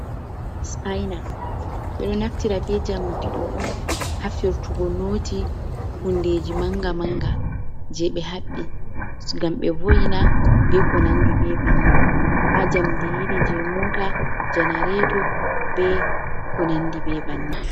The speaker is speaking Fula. Spaina, ɓe ɗo naftira ɓe jamdi ɗo on ha firtugo noti hundeji manga manga je ɓe haɓɓi ngam be vo’ina be ko nandi be bannin, ha jamdi iri je mota, janareto be ko nandi be bannin.